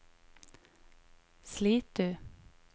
Slitu